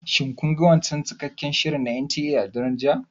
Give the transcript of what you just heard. Shin kun ga wancan cikakken shirin na NTA a daren jiya?